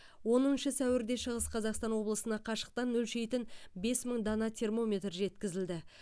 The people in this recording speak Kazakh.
оныншы сәуірде шығыс қазақстан облысына қашықтан өлшейтін бес мың дана термометр жеткізілді